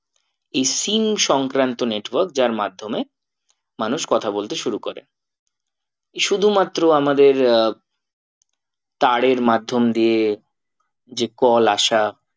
এই সংক্রান্ত network যার মাধ্যমে মানুষ কথা বলতে শুরু করে শুধুমাত্র আমাদের আহ তারের মাধ্যম দিয়ে যে call আসা